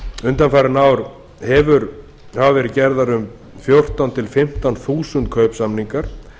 undanfarin ár hafa verið gerðir um fjórtán til fimmtán þúsund kaupsamningar